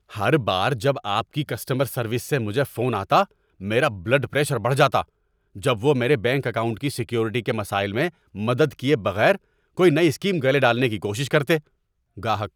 ہر بار جب آپ کی کسٹمر سروس سے مجھے فون آتا، میرا بلڈ پریشر بڑھ جاتا جب وہ میرے بینک اکاؤنٹ کی سیکیورٹی کے مسائل میں مدد کیے بغیر کوئی نئی اسکیم گلے ڈالنے کی کوشش کرتے۔ (گاہک)